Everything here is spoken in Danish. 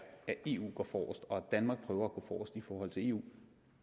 at eu går forrest og at danmark prøver at gå forrest i forhold til eu